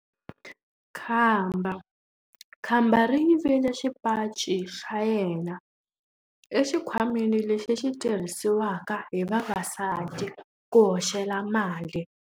Khamba ri yivile xipaci xa yena exikhwameni lexi xi tirhisiwaka hi vavasati ku hoxela mali.